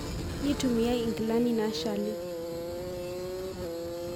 neitumiyae nkilanii nashali.